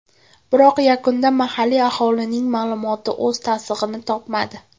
Biroq yakunda mahalliy aholining ma’lumoti o‘z tasdig‘ini topmadi.